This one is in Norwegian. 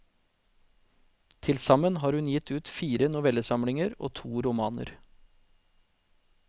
Til sammen har hun gitt ut fire novellesamlinger og to romaner.